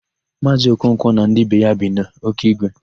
Maazị Okonkwo na ndị be ya bi n' Ọkigwe.